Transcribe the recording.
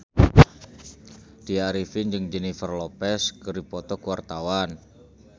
Tya Arifin jeung Jennifer Lopez keur dipoto ku wartawan